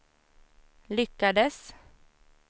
lyckades